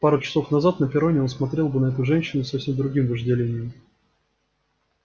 пару часов назад на перроне он смотрел бы на эту женщину с совсем другим вожделением